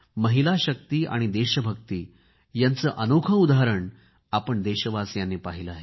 महिलाशक्ती आणि देशभक्ती यांचे अनोखे उदाहरण आपण देशवासियांनी पाहिले आहे